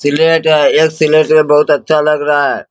Slate है एक slate में बहुत अच्छा लग रहा है।